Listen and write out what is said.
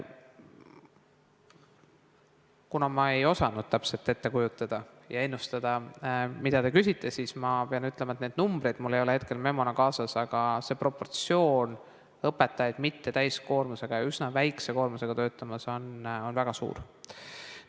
Kuna ma ei osanud täpselt ette kujutada ja ennustada, mida te küsite, siis ma pean ütlema, et neid numbreid mul ei ole hetkel memona kaasas, aga see proportsioon, kui palju õpetajaid mittetäiskoormusega ja üsna väikse koormusega töötab, on väga suur.